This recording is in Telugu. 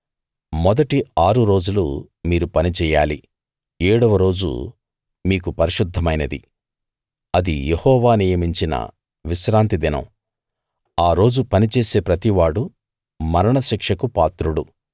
మొదటి ఆరు రోజులు మీరు పని చెయ్యాలి ఏడవ రోజు మీకు పరిశుద్ధమైనది అది యెహోవా నియమించిన విశ్రాంతి దినం ఆ రోజు పని చేసే ప్రతివాడూ మరణ శిక్షకు పాత్రుడు